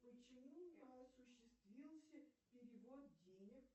почему не осуществился перевод денег